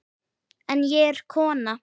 En ég er kona.